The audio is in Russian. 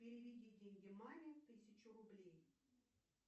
переведи деньги маме тысячу рублей